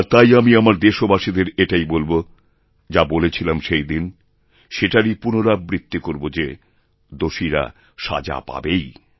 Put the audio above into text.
আর তাই আমি আমার দেশবাসীদের এটাই বলব যা বলেছিলাম সেই দিনেসেটারই পুনরাবৃত্তি করব যে দোষীরা সাজা পাবেই